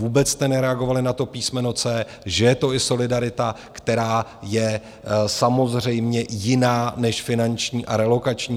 Vůbec jste nereagovali na to písmeno c), že je to i solidarita, která je samozřejmě jiná než finanční a relokační.